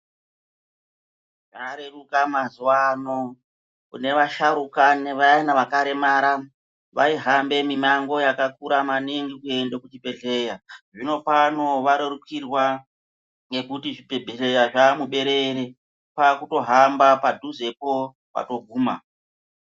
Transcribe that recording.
Zvareruka mazuva ano, kune vasharuka nevayana vakaremara. Vaihamba mimango yakakura maningi kuende kuzvibhedhleya. Zvino pano varerukirwa, ngekuti zvibhedhlera zvaa muberere. Kwakutohamba padhuzepo kwatoguma.